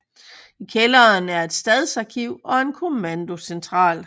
I kælderen er et stadsarkiv og en kommandocentral